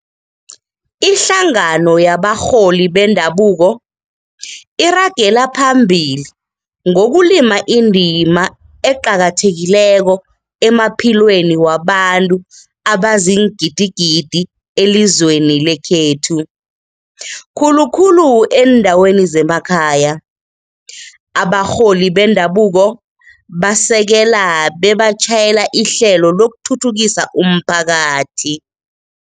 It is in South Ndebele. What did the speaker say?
Ihlangano yabarholi bendabuko iragela phambili ngokulima indima eqakathe kileko emaphilweni wabantu abaziingidigidi elizweni lekhethu, khulukhulu eendaweni zemakhaya. Abarholi bendabuko basekela bebatjhayela ihlelo lokuthuthukisa umphakathi.